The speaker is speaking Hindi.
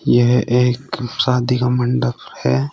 यह एक शादी का मंडप है।